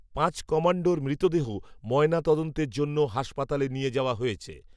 পাঁচ কমাণ্ডোর মৃতদেহ, ময়না তদন্তের জন্য, হাসপাতালে নিয়ে যাওয়া হয়েছে